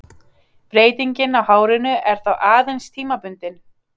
Breytingin á hárinu er þá aðeins tímabundin.